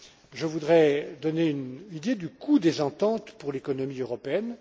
Je voudrais donner une idée du coût des ententes pour l'économie européenne.